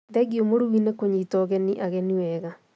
Thengiũmũrugi nĩ kũnyita ũgeni ageni wega